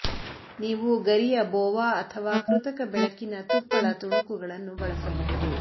ನೀವು ಗರಿಯ ಬೋವಾ ಅಥವಾ ಕೃತಕ ಬೆಳಕಿನ ತುಪ್ಪಳ ತುಣುಕುಗಳನ್ನು ಬಳಸಬಹುದು